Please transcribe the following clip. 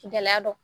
Gɛlɛya dɔ